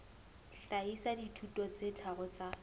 hlahisa dithuto tse tharo tsa